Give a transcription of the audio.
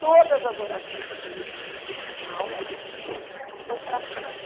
Todas as orações que eu conhecia, porque assim a aula ia indo mais para frente.